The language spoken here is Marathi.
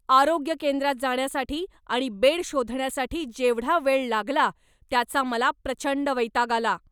आरोग्य केंद्रात जाण्यासाठी आणि बेड शोधण्यासाठी जेवढा वेळ लागला त्याचा मला प्रचंड वैताग आला.